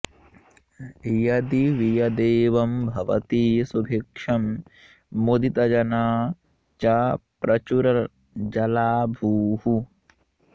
यदि वियदेवं भवति सुभिक्षं मुदितजना च प्रचुरजला भूः